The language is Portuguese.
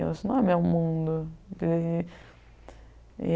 Eu disse, não é meu mundo aquilo ali